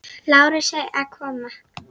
Lárusi að koma.